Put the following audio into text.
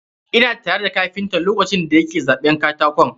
Ina tare da kapinta lokacin da ya ke zaɓan katakon.